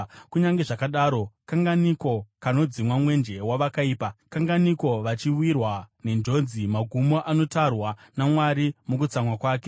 “Kunyange zvakadaro, kanganiko kanodzimwa mwenje wevakaipa? Kanganiko vachiwirwa nenjodzi, magumo anotarwa naMwari mukutsamwa kwake?